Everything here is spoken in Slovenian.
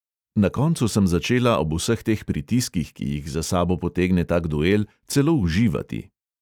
Na koncu sem začela ob vseh teh pritiskih, ki jih za sabo potegne tak duel, celo uživati.